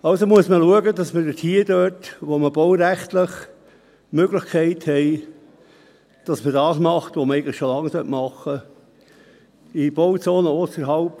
Also muss man schauen, dass man dort, wo man baurechtlich die Möglichkeit hat, das tut, was man eigentlich schon lange tun müsste: